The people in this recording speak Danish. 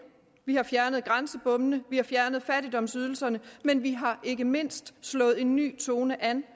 vi har fjernet grænsebommene vi har fjernet fattigdomsydelserne men vi har ikke mindst slået en ny tone an